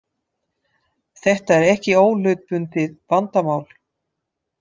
Þetta er ekki óhlutbundið vandamál